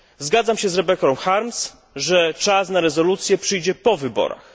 Zgadzam się z Rebecą Harms, że czas na rezolucje przyjdzie po wyborach.